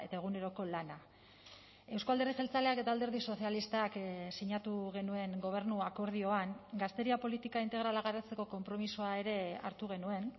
eguneroko lana euzko alderdi jeltzaleak eta alderdi sozialistak sinatu genuen gobernu akordioan gazteria politika integrala garatzeko konpromisoa ere hartu genuen